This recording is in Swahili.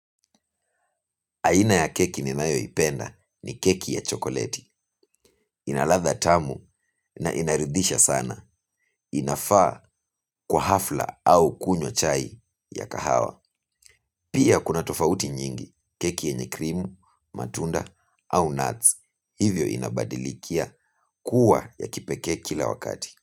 Aina ya keki ninayoipenda ni keki ya chokoleti inaladha tamu na inaridhisha sana. Inafaa kwa hafla au kunywa chai ya kahawa. Pia kuna tofauti nyingi keki yenye krimu, matunda au nuts. Hivyo inabadilikia kuwa ya kipeke kila wakati.